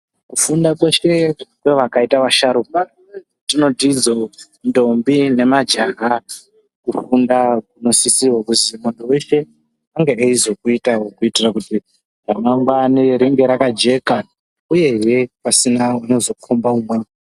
Kufunda kweshe kwevakaita vasharukwa tinotizo ndombi nemajaha kufundawo kunosise kuti muntu wese ange achizokuitawo kuitira kuti ramangwana ringe rakajeka uyezve pasina unozokomba umweni.